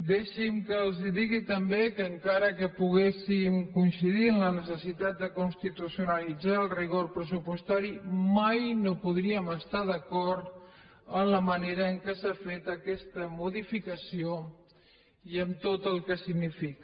deixi’m que els digui també que encara que poguéssim coincidir en la necessitat de constitucionalitzar el rigor pressupostari mai no podríem estar d’acord en la manera en què s’ha fet aquesta modificació i amb tot el que significa